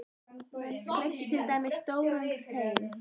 Menn skreyttu til dæmis stóran hrein.